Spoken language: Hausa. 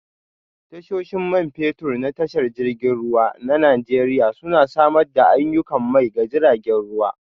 Tashoshin Man Fetur na Tashar jiragen ruwa na Najeriya Suna Samar da aiyukan mai ga jiragen ruwa